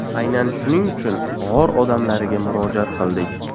Aynan shuning uchun g‘or odamlariga murojaat qildik.